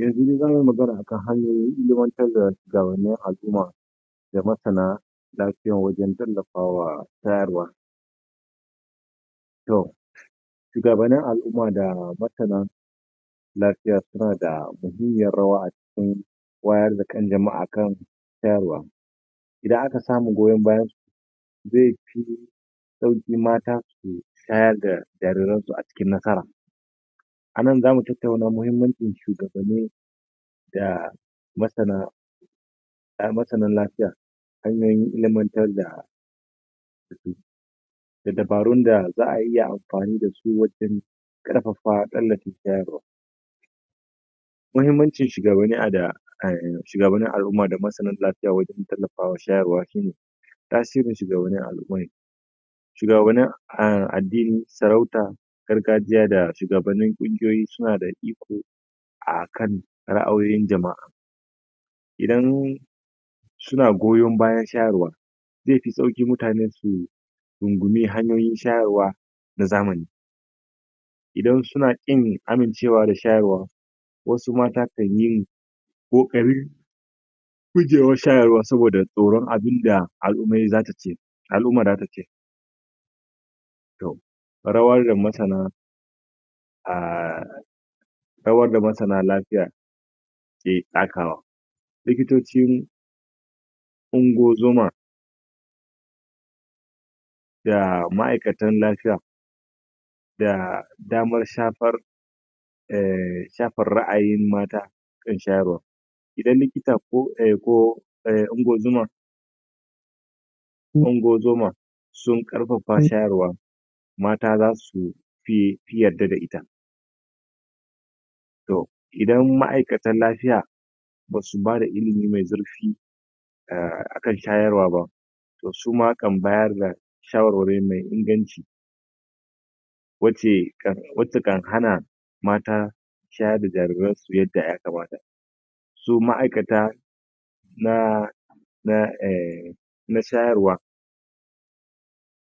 Yanzu daza mu yi magana akan hanyoyin ilimantar da shuwagabannin Al'umma. da Masana lafiya wajen tallawafawa masana Toh, Shugabannin Al'umma da masana lafiya suna da muhimmiyar rawa a cikin wayar da kan jama'a kan shayarwa. Idan aka samu goyon bayansu zai fi sauƙi mata su shayar da jariransu a cikin nasara. Anan za mu tattauna muhimmancin shugabanni da masana da masanan lafiya hanyoyin ilimantar da da dabarun da za'a iya amfani da su wajen ƙarfafa waɗanda suke shayarwa. Muhimmancin aahhh shugabannin al'umma da masanan lafiya wajen tallafawa shayarwa shine Tasirin Shugabannin Al'umma shugabannin addini, sarauta gargajiya da shugabannin ƙungiyoyi suna da iko akan ra'ayoyin jama'a. Idan suna goyon bayan shawarwari zai fi sauƙi mutane su rungumi hanyoyin shayarwa na zamani. Idan suna ƙin amincewa da shayarwa, wasu mata kanyi ƙoƙari gujewar shayarwa sabida tsoron abinda al'umma za ta ce. Al'umma za ta ce Rawar da masana ahh Rawar da masana Lafiya ke takawa. Likitocin ungozuma da ma'aikatan lafiya da damar shafan ehh shafar ra'ayin mata akan shayarwa idan likita ko unguwar zoma ungozuma sun ƙarfafa shayarwa, mata za su fi yadda da ita. Toh idan ma'aikatan lafiya ba su ba da ilimi mai zurfi akan shayarwa ba, to suma kam bayar da shawarwari wacce kan hana mata shayar da jariransu yadda ya kamata. So ma'aikata na na ehh nashayarwa,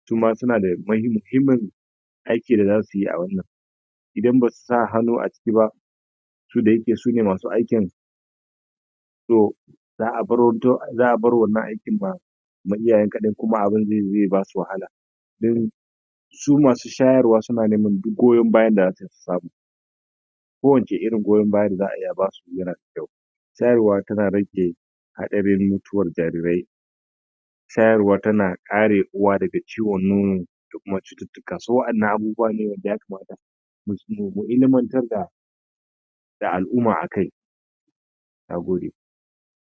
suma suna da muhimmin aiki da za su yi idan ba su sa hannu aciki ba, su da ya ke su ne masu aikin so za'a bar wanna aikin ba ba na iyayen kaɗai ba kuma da zai ba su wahala. Su masu shayarwa suna neman duk goyon bayan da zasu su samu kowanne irin goyon baya da za'a ba su yana da kyau Shayarwa tana rage haɗarin mutuwar jarirai Shayarwa tana kare uwa daga ciwon nono da kumacututtuka, so waɗannan abubuwa ne kamata mu ilimantar da al'umma akai nagode.